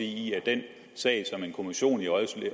i at i den sag som en kommission i